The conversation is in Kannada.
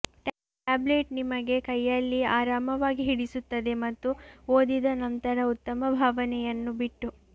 ಟ್ಯಾಬ್ಲೆಟ್ ನಿಮ್ಮ ಕೈಯಲ್ಲಿ ಆರಾಮವಾಗಿ ಹಿಡಿಸುತ್ತದೆ ಮತ್ತು ಓದಿದ ನಂತರ ಉತ್ತಮ ಭಾವನೆಯನ್ನು ಬಿಟ್ಟು